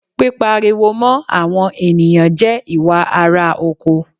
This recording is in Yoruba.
Pípariwo mọ́ àwọn ènìyàn jẹ́ ìwà ará oko.